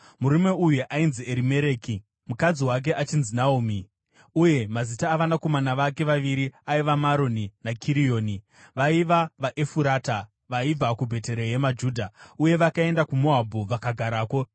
Murume uyu ainzi Erimereki, mukadzi wake achinzi Naomi, uye mazita avanakomana vake vaviri aiva Maroni naKirioni. Vaiva vaEfurata vaibva kuBheterehema Judha. Uye vakaenda kuMoabhu vakagarako.